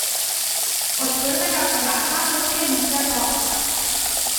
Od prvega koraka do sklenitve posla.